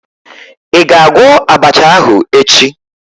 Ị ga-agwọ abacha ahụ echi?